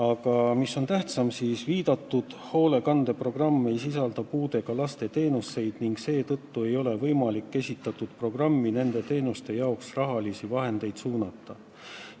Aga tähtsam on see, et viidatud hoolekandeprogramm ei sisalda puudega laste teenuseid ning seetõttu ei ole võimalik sellesse programmi nende teenuste jaoks raha suunata.